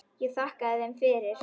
Ég þakkaði þeim fyrir.